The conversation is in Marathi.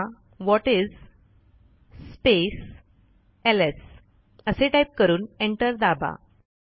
आता व्हॉटिस स्पेस एलएस असे टाईप करून एंटर दाबा